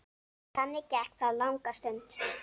Þannig gekk það langa stund.